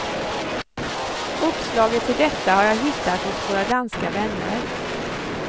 Uppslaget till detta har jag hittat hos våra danska vänner.